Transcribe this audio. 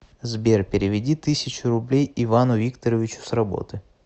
сбер переведи тысячу рублей ивану викторовичу с работы